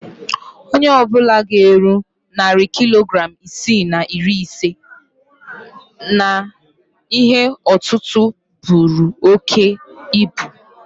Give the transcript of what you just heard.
Onye ọ bụla ga-eru narị kilogram isii na iri ise n'ihe òtútú buru oke ibu